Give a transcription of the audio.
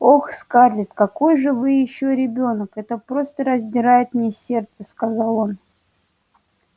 ох скарлетт какой же вы ещё ребёнок это просто раздирает мне сердце сказал он